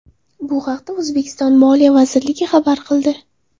Bu haqda O‘zbekiston Moliya vazirligi ma’lum qildi .